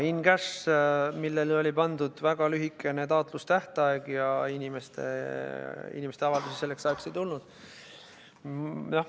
Jah, in‑cash, millele oli pandud väga lühikene taotlustähtaeg ja inimeste avaldusi selleks ajaks ei tulnud.